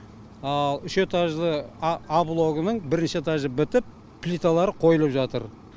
ал үш этажды а блогының бірінші этажы бітіп плиталары қойылып жатыр